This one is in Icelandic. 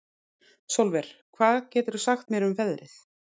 Sólver, hvað geturðu sagt mér um veðrið?